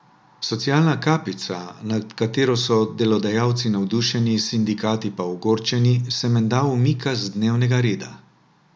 Socialna kapica, nad katero so delodajalci navdušeni, sindikati pa ogorčeni, se menda umika z dnevnega reda.